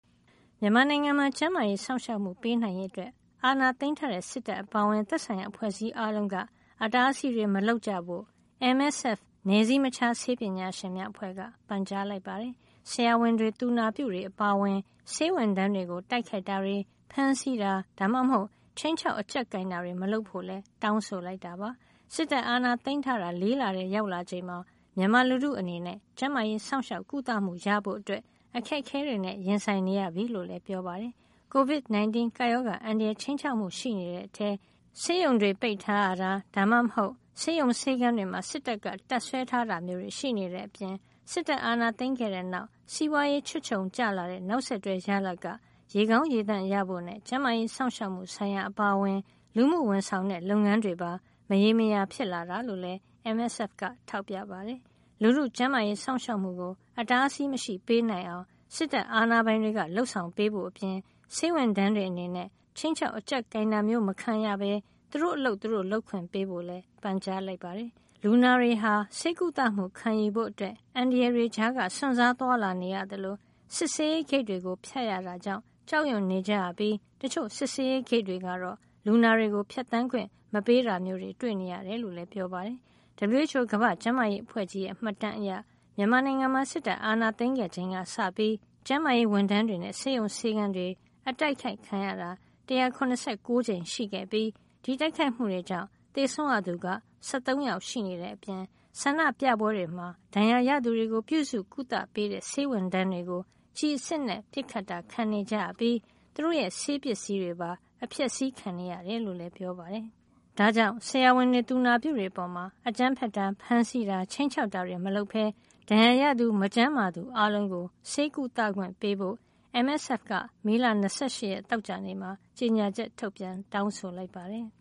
မြန်မာနိုင်ငံမှာ ကျန်းမာရေးစောင့်ရှောက်မှု ပေးနိုင်ရေး အတွက် အာဏာသိမ်းထားတဲ့ စစ်တပ်အပါအဝင် သက်ဆိုင်ရာ အဖွဲ့အစည်း အားလုံးက အတားအဆီးတွေ မလုပ်ကြဖို့ MSF နည်းစည်းမခြားဆေးပညာရှင်များအဖွဲ့က ပန်ကြားလိုက်ပါတယ်။ ဆရာဝန်တွေ သူနာပြုတွေအပါအဝင် ဆေးဝန်ထမ်းတွေကို တိုက်ခိုက်တာတွေ ၊ ဖမ်းဆီးတာ ဒါမှမဟုတ် ခြိမ်းခြောက် အကျပ်ကိုင်တာတွေ မလုပ်ဖို့လည်း တောင်းဆိုလိုက်တာပါ။ စစ်တပ်ကအာဏာသိမ်းထားတာ ၄ လထဲ ရောက်လာချိန်မှာ မြန်မာလူထုအနေနဲ့ ကျန်းမာရေးစောင့်ရှောက် ကုသမှုရဖို့ အခက်ခဲတွေနဲ့ ရင်ဆိုင်နေရပြီ လို့လည်း ပြောပါတယ်။ COVID-19 ကပ်ရောဂါ အန္တရာယ် ခြိမ်းခြောက်မှု ရှိနေတဲ့အထဲ ဆေးရုံတွေ ပိတ်ထားရတာ ဒါမှမဟုတ် ဆေးရုံဆေးခန်းတွေမှာ စစ်တပ်ကတပ်စွဲထားတာမျိုးတွေ ရှိနေတဲ့အပြင့် စစ်တပ်အာဏာသိမ်းခဲ့တဲ့နောက် စီးပွားရေးချွတ်ခြုံကျလာတဲ့ နောက်ဆက်တွဲ ရလဒ်က ရေကောင်းရေသန့်ရဖို့နဲ့ ကျန်းမာရေးစောင့်ရှောက်မှု ဆိုင်ရာ အပါအဝင် လူမှုဝန်ဆောင်တဲ့ လုပ်ငန်းတွေပါ မရေမရာ ဖြစ်လာတာလို့လည်း MSF က ထောက်ပြပါတယ်။ လူထုကျန်းမာရေးစောင့်ရှောက်မှုကို အတားအဆီးမရှိ ပေးနိုင်အောင် စစ်တပ်အာဏာပိုင်တွေက လုပ်ဆောင်ပေးဖို့ အပြင် ဆေးဝန်ထမ်းတွေ အနေနဲ့ အကြောက်တရားကင်းကင်းနဲ့ ခြိမ်းခြောက် အကြပ်ကိုင်တာမျိုး မခံရပဲ သူတို့ အလုပ် သူတို့ လုပ်ခွင့်ပေးဖို့လည်း ပန်ကြားလိုက်ပါတယ်။ လူနာတွေဟာလည်း ဆေးကုသမှု ခံယူဖို့အတွက် အန္တရာယ်တွေကြားက စွန့်စားသွားလာနေရသလို၊ စစ်ဆေးရေးဂိတ်တွေကို ဖြတ်ရတာကြောင့် ကြောက်ရွံ့နေကြရပြီး တချို့ စစ်ဆေးရေးဂိတ်တွေကတော့ လူနာတွေကို ဖြတ်သန်းခွင့် မပေးတာမျိုး တွေ့နေရကြောင်းလည်း ပြောပါတယ်။ WHO ကမ္ဘာ့ကျန်းမာရေးအဖွဲ့ကြီးရဲ့ မှတ်တမ်းအရ မြန်မာနိုင်ငံမှာ စစ်တပ်အာဏာ သိမ်းခဲ့ချိန်ကစပြီး ကျန်းမာရေးဝန်ထမ်းတွေနဲ့ ဆေးရုံဆေးခန်းတွေ အတိုက်ခိုက်ခံရတာ ၁၇၉ ကြိမ် ရှိခဲ့ပြီး ဒီတိုက်ခိုက်မှုတွေကြောင့် သေဆုံးရသူ ၁၃ ယောက် ရှိနေတဲ့ အပြင် ဆန္ဒပြပွဲတွေမှာ ဒဏ်ရာရသူတွေကို ပြုစုကုသပေးတဲ့ ဆေးဝန်ထမ်းတွေကို ကျည်အစစ်နဲ့ ပစ်ခတ်တာ ခံကြရပြီး သူတို့ရဲ့ ဆေးပစ္စည်းတွေပါ အဖျက်ဆီးခံခဲ့ရတယ်လို့လည်း ပြောပါတယ်။ ဒါကြောင့် ဆရာဝန်တွေ သူနာပြုတွေ အပေါ် အကြမ်းဖက်တာ၊ ဖမ်းဆီးတာ ခြိမ်းခြောက်တာတွေ မလုပ်ပဲ ဒဏ်ရာရသူ မကျန်းမာသူအားလုံးကို ဆေးကုသခွင့် ပေးဖို့လည်း MSF က မေလ ၂၈ ရက် သောကြာနေ့မှာ ကြေညာချက် ထုတ်ပြန် တောင်းဆိုလိုက်ပါတယ်